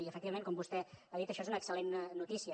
i efectivament com vostè ha dit això és una excel·lent notícia